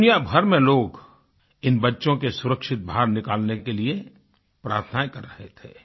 दुनिया भर में लोग इन बच्चों को सुरक्षित बाहर निकालने के लिए प्रार्थनाएँ कर रहे थे